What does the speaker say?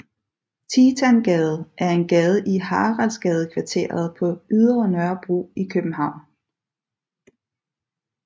Titangade er en gade i Haraldsgadekvarteret på Ydre Nørrebro i København